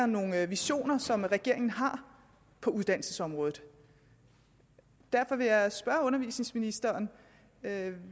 nogle visioner som regeringen har på uddannelsesområdet derfor vil jeg spørge undervisningsministeren